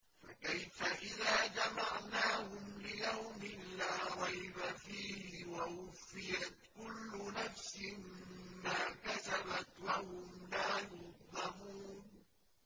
فَكَيْفَ إِذَا جَمَعْنَاهُمْ لِيَوْمٍ لَّا رَيْبَ فِيهِ وَوُفِّيَتْ كُلُّ نَفْسٍ مَّا كَسَبَتْ وَهُمْ لَا يُظْلَمُونَ